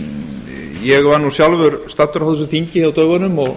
ég var nú sjálfur staddur á þessu þingi á dögunum og